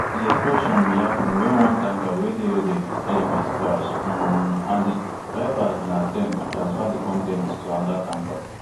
di explosion bin happun wen one tanker wey dey loaded wit pms crash um and di drivers bin attempt to transfer di con ten ts to anoda tanker